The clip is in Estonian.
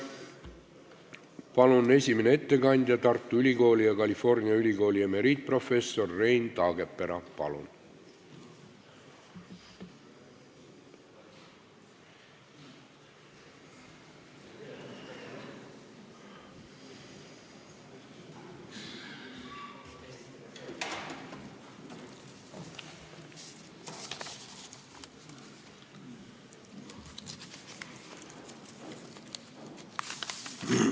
Palun, esimene ettekandja, Tartu Ülikooli ja California Ülikooli emeriitprofessor Rein Taagepera!